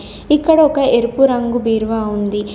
ఇక్కడ ఒక ఎరుపు రంగు బీరువా ఉంది.